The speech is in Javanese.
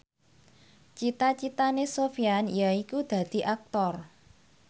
cita citane Sofyan yaiku dadi Aktor